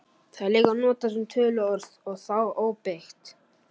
Það er líka notað sem töluorð og þá óbeygt.